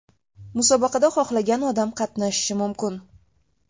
Musobaqada xohlagan odam qatnashishi mumkin.